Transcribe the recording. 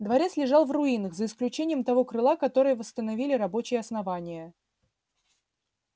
дворец лежал в руинах за исключением того крыла которое восстановили рабочие основания